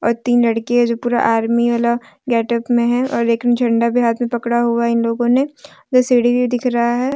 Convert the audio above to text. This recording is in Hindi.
और तीन लड़कियां है जो पूरा आर्मी वाला गेटअप में है और एक ने झंडा भी हाथ में पकड़ा हुआ है इन लोगों ने उधर सीढ़ी भी दिख रहा है।